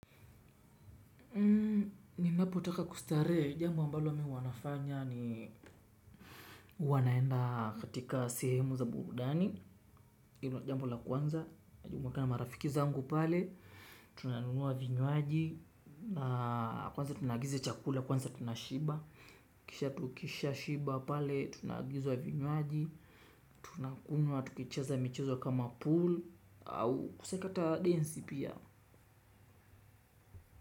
Ninapotaka kustaree jambo ambalo mi uwa nafanya ni uwa naenda katika sehemu za burudani. Jambo la kwanza, najumuika na marafiki zangu pale, tunanunua vinywaji. Kwanza tunaagiza chakula, kwanza tunashiba. Kisha tukisha shiba pale, tunagizua vinywaji. Tunakunywa, tukicheza michezo kama pool. Au kusekata DNZ pia.